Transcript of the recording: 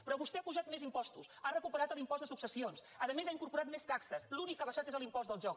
però vostè ha apujat més impostos ha recuperat l’impost de successions a més ha incorporat més taxes l’únic que ha abaixat és l’impost del joc